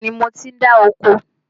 Bẹ́ẹ̀ni, mo ti ń dá oko